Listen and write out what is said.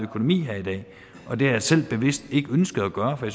økonomi her i dag og det har jeg selv bevidst ikke ønsket at gøre for